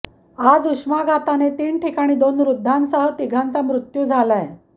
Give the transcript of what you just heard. आज उष्माघाताने तीन ठिकाणी दोन वृद्धांसह तिघांचा मृत्यू झालाय